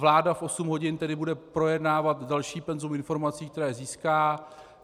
Vláda v osm hodin tedy bude projednávat další penzum informací, které získá.